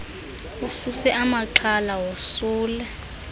ususe amaxhala wosule